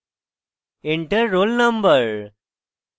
enter roll no: